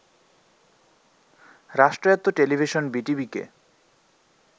রাষ্ট্রয়াত্ত্ব television বিটিভিকে